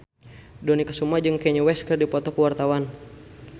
Dony Kesuma jeung Kanye West keur dipoto ku wartawan